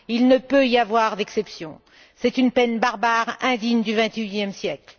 Il ne peut y avoir d'exception. C'est une peine barbare, indigne du 21e siècle.